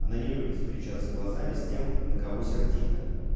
она не любит встречаться глазами с тем на кого сердита